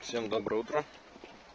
всем доброе утро